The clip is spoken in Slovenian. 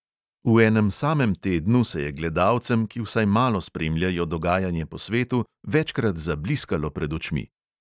V enem samem tednu se je gledalcem, ki vsaj malo spremljajo dogajanje po svetu, večkrat zabliskalo pred očmi.